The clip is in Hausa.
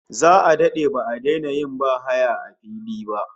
Za'a dade ba'a daina yin bahaya a fili ba